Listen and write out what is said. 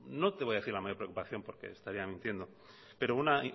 no es vaya a decir la mayor preocupación porque estaría mintiendo pero una